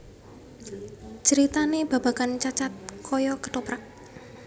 Critanè babagan Cacad kaya kethoprak